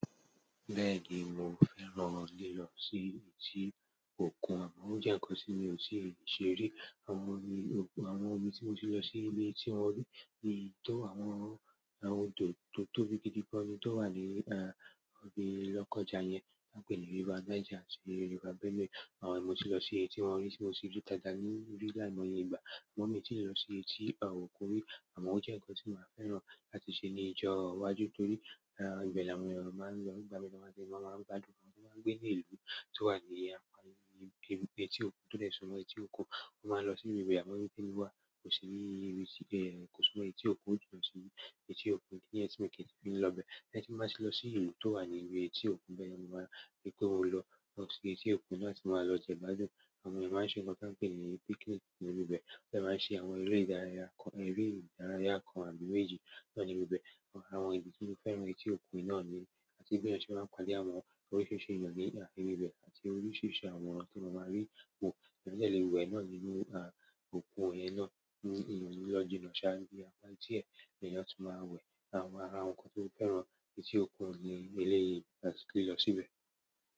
Bẹ́ẹ̀ni mò fẹ́ràn lílọ sí etí òkun, ó jẹ́ nǹkan tí mi ò tíì ṣe rí. Àwọn ibi tí mò sì lọ sí ibi tí wọ́n rí, tó àwọn odò tó tóbi gidi gan-an ni tó wà ní ibi Lọ́kọ́ja yẹn, wọ́n pè ní River Niger àti River Benue. Àwọn mò sì lọ sí ibi tí wọ́n rí, tí mò sì rí táyà nínú rí láìmọye ìgbà. Mò mí tì lọ sí etí àwọn òkun rí àmọ́ ó jẹ́ nǹkan tí mò máa fẹ́ rántí ṣe ní ìjọ́ọ́ iwájú torí, gbè láàmú ẹran máa ń lọ gbà mí lọ́wọ́, máa ń gbádùn, àwọn tó máa ń gbé nílùú tó wà ní èyí tí òkun tó lè súnmọ́ èyí tí òkun. Mo máa lọ sí ibi ìgbà mo rí pé níwà kò sí ní kò súnmọ́ èyí tí òkun, mo jùlọ sí ibi èyí tí òkun kí nǹkan tí mo lè fi lọ bẹ́ẹ̀. Ẹni tí mò máa sì lọ sí ìlú tó wà ní ibi èyí tí òkun bẹ́ẹ̀ ni mo máa rí pé ó lọ lọ sí etí òkun láti máa lọ jẹ gbádùn. Àwọn èèyàn máa ń ṣe nǹkan t'ọ́n ń pè ní picnic nínú ibẹ̀. Wọ́n dẹ̀ máa ń ṣe àwọn eré ìdárayá kan, eré ìdárayá kan àbí méjì náà níbi ibẹ̀. Àwọn ìdí tí mo fi fẹ́ràn etí òkun náà nìyí, àti béèyàn ṣe máa ń pàdé oríṣìíríṣìí èèyàn ní ibẹ̀, àti oríṣìíríṣìí àwọn tí mo máa rí wò. Èèyàn dẹ̀ le wẹ̀ náà nínú òkun ẹ náà, inú ìyàn ní lọ́jínà ṣáájú apá tí ẹ̀yẹ tó máa wẹ̀. Àwọn ara nǹkan tí mò fẹ́ràn etí òkun ní eléyìí láti lè lọ síbẹ̀.